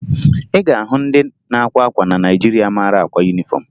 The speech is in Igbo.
Ị ga-ahụ ndị na-akwa akwa na Naịjirịa mara akwa yunifọmụ